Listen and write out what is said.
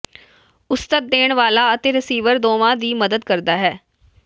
ਉਸਤਤ ਦੇਣ ਵਾਲਾ ਅਤੇ ਰਿਸੀਵਰ ਦੋਵਾਂ ਦੀ ਮਦਦ ਕਰਦਾ ਹੈ